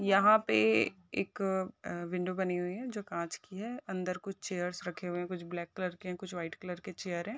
यहाँ पे एक अं-- विंडो बनी हुई हैजो कांच की हैअंदर कुछ चेयरस रखे हुए हैं कुछ ब्लैक कलर के हैं कुछ वाइट कलर के चेयर हैं।